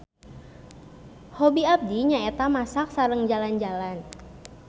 Hobi abdi nyaeta masak sareng jalan-jalan.